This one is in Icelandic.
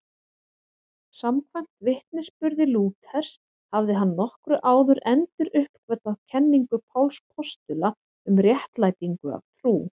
Samkvæmt vitnisburði Lúthers hafði hann nokkru áður enduruppgötvað kenningu Páls postula um réttlætingu af trú.